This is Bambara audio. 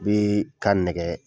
U bɛ ka nɛgɛ